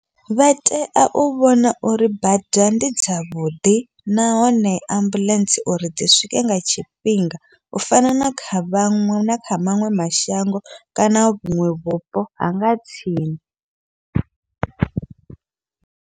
Vha tea u vhona uri bada ndi dzavhuḓi, nahone ambuḽentse uri dzi swike nga tshifhinga u fana na kha vhaṅwe na kha maṅwe mashango, kana vhuṅwe vhupo hanga tsini.